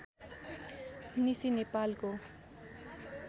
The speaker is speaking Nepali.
निसी नेपालको